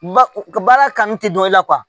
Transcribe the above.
Ba ka baara kanu tɛ dɔn i la kuwa